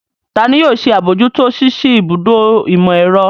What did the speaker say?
Ta ni yóò ṣe àbójútó ṣíṣí ibùdó ìmọ̀-ẹ̀rọ?